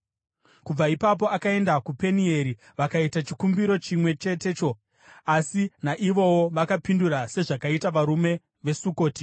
Kubva ipapo akaenda kuPenieri vakaita chikumbiro chimwe chetecho, asi naivowo vakapindura sezvakaita varume veSukoti.